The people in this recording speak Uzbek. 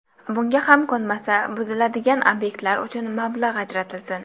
Bunga ham ko‘nmasa, buziladigan obyektlar uchun mablag‘ ajratilsin.